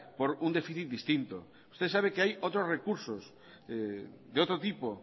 por un déficit distinto ustedes saben que hay otros recursos de otro tipo